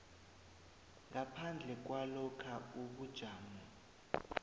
ngaphandle kwalokha ubujamo